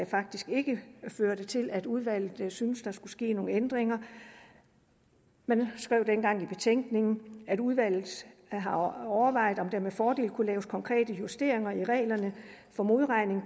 faktisk ikke førte til at udvalget syntes der skulle ske nogen ændringer man skrev dengang i betænkningen at udvalget har overvejet om der med fordel kunne laves konkrete justeringer i reglerne for modregning